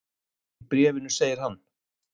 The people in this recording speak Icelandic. Í bréfinu segir hann: